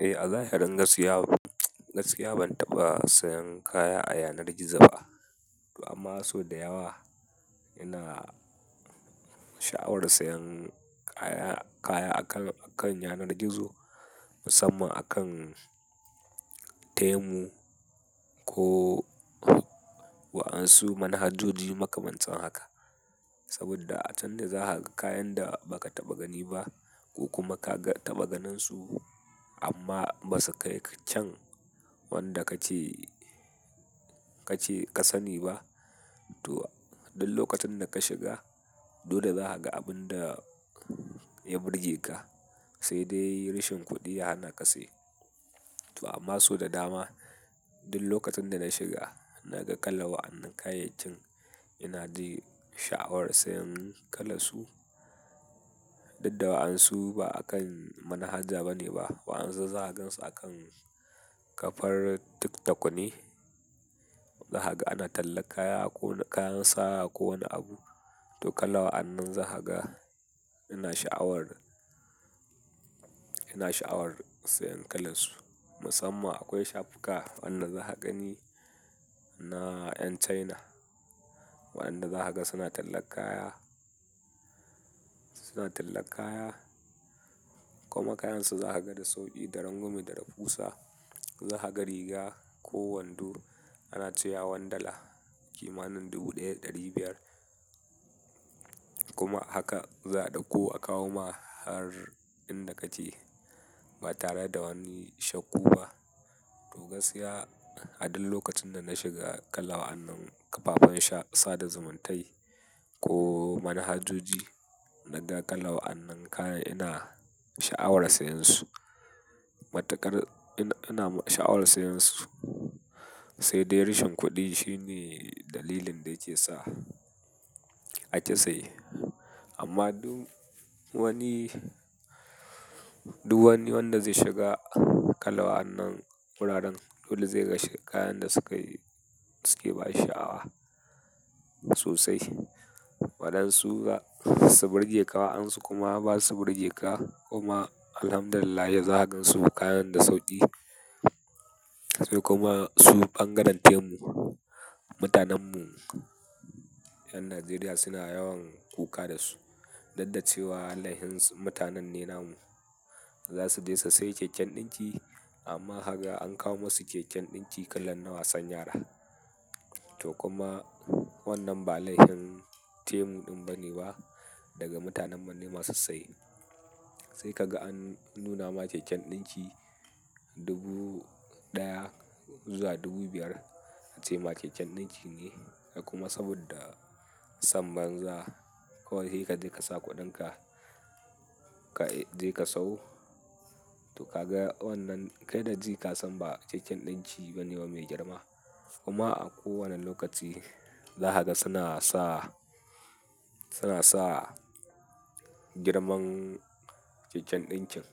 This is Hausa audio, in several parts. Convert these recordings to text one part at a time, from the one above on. Eh, Allah ya hadin gaskiya. Gaskiya ban taɓa sayan kaya a yanar gizo ba. Amma so da yawa ina sha'awar sayan kaya, kaya akan, akan yanar gizo musamman akan Temu ko wa'ansu manhajoji makamantan haka. Saboda a can da za ka ga kayan da ba ka taɓa gani ba ko kuma ka ga, taɓa ganinsu amma ba su kai cen wanda kace, kace ka sani ba. To, duk lokacin da ka shiga dole za ka ga abun da ya burge ka, sai dai rashin kuɗiya yana kasai. To amma so da dama duk lokacin da na shiga, na ga kala wa'annan kayayakin ina ji sha'awar sayan kalansu. Dudda wa'ansu ba akan manhaja bane ba. Wa'ansu za ka gansu akan kafar TikTok ne. Za ka, ana talla kaya ko kayan saya ko wani abu. To kala wa'annan za ka ga ina sha'awar, ina sha'awar sayan kalansu. Musamman akwai shafuka wanna za ka gani na yan China. Waɗanda za ka ga suna talla kaya, suna talla kaya. Kuma kayansu za ka ga da sauƙi, da rangumi, da da fusa. Za ka ga riga ko wando ana cewa one dala kimanin dubu ɗaya ɗari biyar. Kuma haka za ɗauko a kawo ma har inda kace ba tare da wani shakku ba. To gaskiya a duk lokacin da na shiga kala wa'annan kafafen sha, sada zumuntai ko manhajoji, na ga kala wa'annan kaya ina sha'awar sayansu. Matukar ina, ina sha'awar sayansu sai dai rashin kuɗi shine dalilin da yake sa aki saye. Amma duk wani, duk wani wanda zai shiga kala wannan wuraren dole zai ga kayan da sukayi, suke bashi sha'awa sosai. Waɗansu ga su burge ka wa'ansu kuma ba su burge ka kuma Alhamdulillah yanzu hakan su kayan da sauƙi. Sai kuma su ɓangaren Temu, mutanenmu 'yan Najeriya suna yawan kuka da su. Daddace wa lahinsu mutanen nenamu. Za su je su sai keken ɗinki amma kaga an kawo musu keken ɗinki kalan na wasan yara. To kuma wannan ba laihin Temu ɗin bane ba daga mutanen mu ne masu saye sai ka ga an nuna ma keken ɗinki dubu ɗaya zuwa dubu biyar ace ma keken ɗinki ne. Kuma saboda sam banza kawai ya he ka je ka sa kuɗinka, ka je ka sau. To ka ga wannan, kai da ji ka san ba keken ɗinki bane ba mai girma. Kuma a kowane lokaci da haka suna sa, suna sa girman keken ɗinkin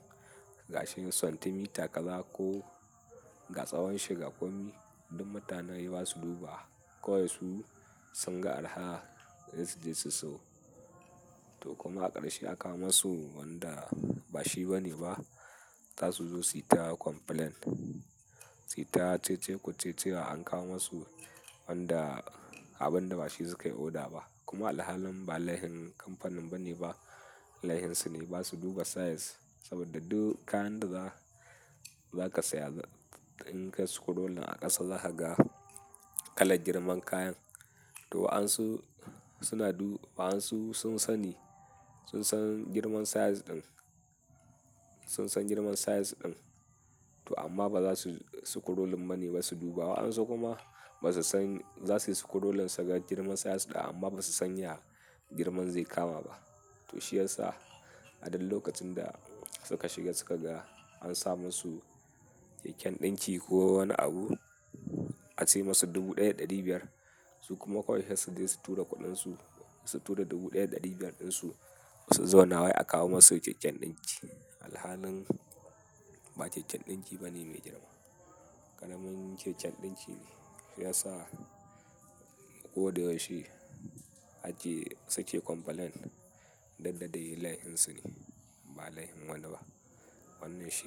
ga shinin santimita gaba ko ga tsawon shi ga komi. Duk mutane basu duba wa kawai su sun ga araha in su je su sayo to kuma a ƙarshe aka wo su wanda ba shi bane ba. Ta su zo su yi tara complaint. Su yi ta cece-kuce cewa an kawo masu wanda abun da ba shi sukayi oda ba. Kuma alhalin ba laifin kamfanin bane ba. Laihinsu ne ba su duba size saboda duk kayan da za, za ka saya in kai su kudulla a ƙasa za ka ga kalan girman kayan. To wa'ansu suna du-- wa'ansu sun sani, sun san girman size ɗin, sun san girman size ɗin to amma ba za su, su kudullin bane basu duba wa'ansu kuma ba su san, za su yi su kudullin saka girman size ɗin amma ba su sanya girman zai kama ba. To shi ya sa a duk lokacin da suka shiga suka ga an sa masu keken ɗinki ko wani abu a ce masu dubu ɗaya da ɗari biyar su kuma koyaushe su je su tura kuɗinsu, su tura dubu ɗaya da ɗari biyar ɗinsu su zauna wai aka kawo masu keken ɗinki. Alhalin ba keken ɗinki bane mai girma. Karamin keken ɗinki ne. Shi ya sa ko da yaushe a je suke complaint daddada yi lahinsu ne. Ba laifin wanda ba. Wannan shi.